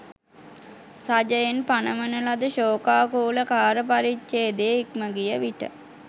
රජයෙන් පණවන ලද ශෝකාකූල කාලපරිච්ඡේදය ඉක්මගිය විට